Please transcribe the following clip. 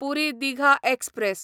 पुरी Digha express